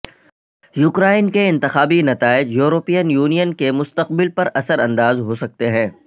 Ukraine کے انتخابی نتائج یورپین یونین کے مستقبل پر اثر انداز ہو سکتے ہیں